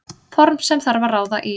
Form sem þarf að ráða í.